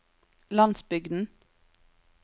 landsbygden